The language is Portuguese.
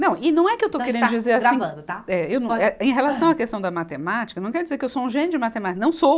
Não, e não é que eu estou querendo dizer assim. Gravando, tá. Eh, em relação à questão da matemática, não quer dizer que eu sou um gênio de matemática, não sou.